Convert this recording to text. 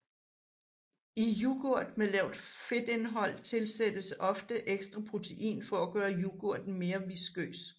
I yoghurt med lavt fedtindhold tilsættes ofte ekstra protein for at gøre yoghurten mere viskøs